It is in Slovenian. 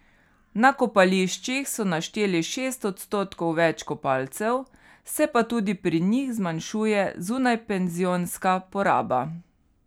Na kopališčih so našteli šest odstotkov več kopalcev, se pa tudi pri njih zmanjšuje zunajpenzionska poraba.